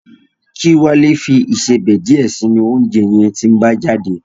Kí Wálé fi ìsebẹ̀ díẹ̀ sínú oúnjẹ yẹn tí ń bá jáde